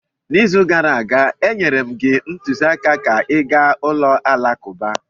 N’izu gara aga, enyere m gị ntụziaka ka ị gaa ulo alakụba.